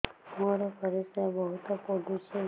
ମୋର ପରିସ୍ରା ବହୁତ ପୁଡୁଚି